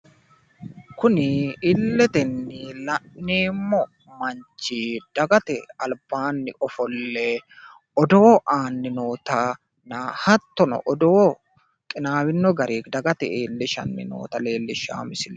kuni illetenni la'neemmo manchi dagate albaanni ofolle odoo aanni nootanna hattono odoo qinaawino garinni dagate iillishanni noota leellishshanno misileeti.